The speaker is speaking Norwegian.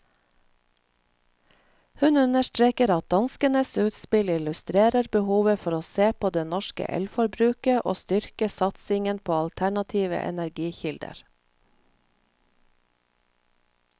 Hun understreker at danskenes utspill illustrerer behovet for å se på det norske elforbruket og styrke satsingen på alternative energikilder.